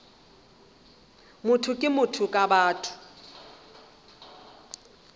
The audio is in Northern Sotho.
motho ke motho ka batho